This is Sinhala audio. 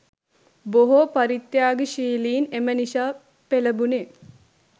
බොහෝ පරිත්‍යාගශීලින් එම නිසා පෙළඹුණේ.